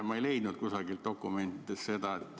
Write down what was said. Ma ei leidnud seda kusagilt dokumentidest.